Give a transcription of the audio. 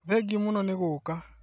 Thengiũmũno nĩ gũũka